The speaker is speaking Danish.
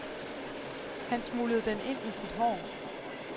Han smuglede den ind i sit hår.